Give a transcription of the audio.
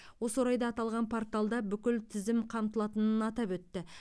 осы орайда аталған порталда бүкіл тізім қамтылатынын атап өтті